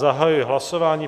Zahajuji hlasování.